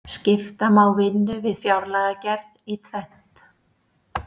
skipta má vinnu við fjárlagagerð í tvennt